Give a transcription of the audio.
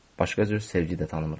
Başqa cür sevgi də tanımırıq.